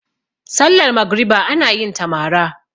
sallar magriba ana yinta mara